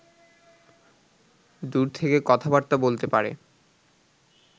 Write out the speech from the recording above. দূর থেকে কথাবার্তা বলতে পারে